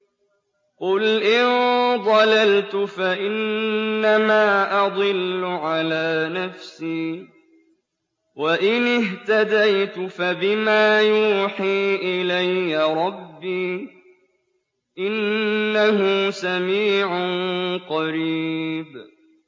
قُلْ إِن ضَلَلْتُ فَإِنَّمَا أَضِلُّ عَلَىٰ نَفْسِي ۖ وَإِنِ اهْتَدَيْتُ فَبِمَا يُوحِي إِلَيَّ رَبِّي ۚ إِنَّهُ سَمِيعٌ قَرِيبٌ